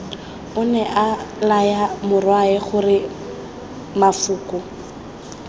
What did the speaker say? onea laya morwae gore mafoko